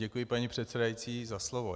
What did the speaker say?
Děkuji, paní předsedající, za slovo.